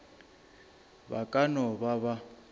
ba ka no ba ba